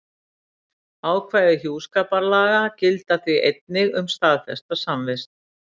Ákvæði hjúskaparlaga, gilda því einnig um staðfesta samvist.